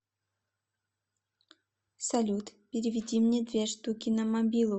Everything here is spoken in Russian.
салют переведи мне две штуки на мобилу